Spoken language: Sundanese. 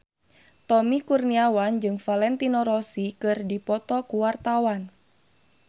Tommy Kurniawan jeung Valentino Rossi keur dipoto ku wartawan